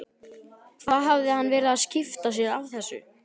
Hvað hafði hann verið að skipta sér af þessu?